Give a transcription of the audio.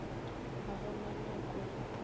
ga go na nako ye